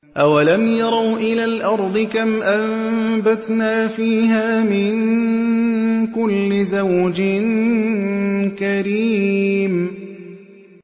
أَوَلَمْ يَرَوْا إِلَى الْأَرْضِ كَمْ أَنبَتْنَا فِيهَا مِن كُلِّ زَوْجٍ كَرِيمٍ